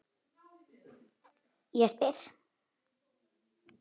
Ég spyr?